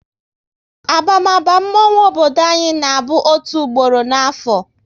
Abamaba mmonwu obodo anyị na bụ otu gboro n'afo